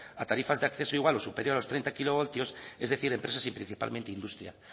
a tarifas de acceso igual o superior a los treinta kilovatios es decir empresas y principalmente industria